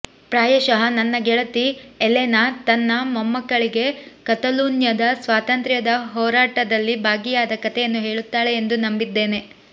ಪ್ರಾಯಶಃ ನನ್ನ ಗೆಳತಿ ಎಲೆನಾ ತನ್ನ ಮೊಮ್ಮಕಳಿಗೆ ಕತಲೂನ್ಯದ ಸ್ವಾತಂತ್ರ್ಯ ಹೋರಾಟದಲ್ಲಿ ಭಾಗಿಯಾದ ಕಥೆಯನ್ನು ಹೇಳುತ್ತಾಳೆ ಎಂದು ನಂಬಿದ್ದೇನೆ